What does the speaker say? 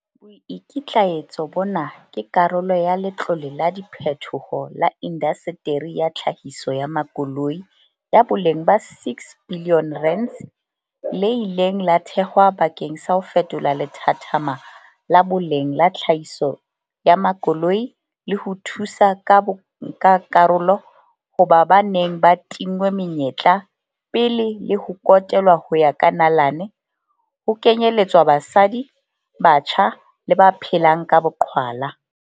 Boikitlaetso bona ke karolo ya Letlole la Diphethoho la Indaseteri ya Tlhahiso ya Makoloi, ya boleng ba R6 bilione, le ileng la thehwa bakeng sa ho fetola lethathama la boleng la tlhahiso ya makoloi le ho thusa ka bonkakarolo ho ba ba neng ba tinngwe menyetla pele le ho kotelwa ho ya ka nalane, ho kenyeletswa basadi, batjha le ba phelang ka boqhwala.